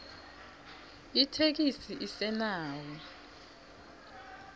itheksthi isenawo